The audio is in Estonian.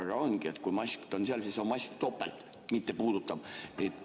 Aga ongi, et kui mast on seal, siis on mast topelt: mitte puutuda!